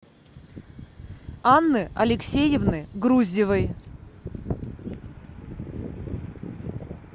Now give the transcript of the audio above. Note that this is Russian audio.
анны алексеевны груздевой